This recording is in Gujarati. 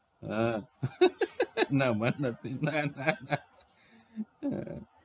હા ના મને નથી ના ના ના